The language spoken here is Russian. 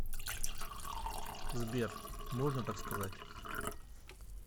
сбер можно так сказать